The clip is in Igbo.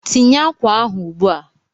Tinye akwa ahụ ugbu a!